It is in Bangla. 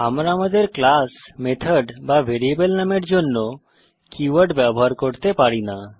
আমরা আমাদের ক্লাস মেথড বা ভ্যারিয়েবল নামের জন্য কীওয়ার্ড ব্যবহার করতে পারি না